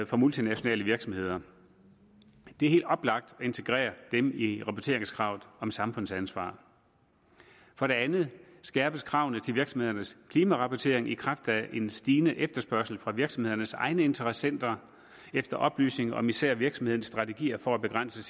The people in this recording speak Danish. for multinationale virksomheder det er helt oplagt at integrere dem i rapporteringskravet om samfundsansvar for det andet skærpes kravene til virksomhedernes klimarapportering i kraft af en stigende efterspørgsel fra virksomhedernes egne interessenter efter oplysning om især virksomhedernes strategier for at begrænse